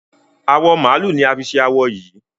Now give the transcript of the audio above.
Awọ màálù ni a fi ṣe awo yìí.